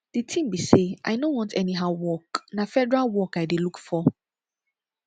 the thing be say i no want anyhow work na federal work i dey look for